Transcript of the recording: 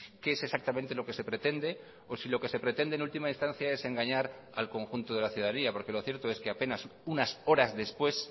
qué es exactamente lo que se pretende o si lo que se pretende en última instancia es engañar al conjunto de la ciudadanía porque lo cierto es que apenas unas horas después